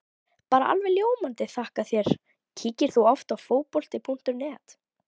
Bara alveg ljómandi þakka þér Kíkir þú oft á Fótbolti.net?